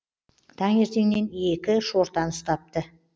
таңертеңнен екі шортан ұстапты